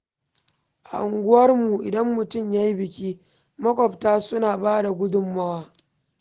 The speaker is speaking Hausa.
A unguwarmu, idan mutum ya yi biki, maƙwabta suna ba da gudunmawa.